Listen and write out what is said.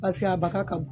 Paseke a baka ka bo